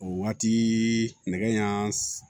O waati nɛgɛ ɲɛ